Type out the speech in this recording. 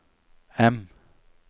M